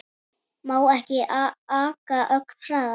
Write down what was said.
Má ekki aka ögn hraðar?